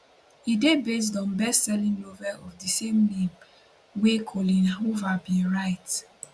e dey based on best selling novel of di same name wey coleen hoover bin write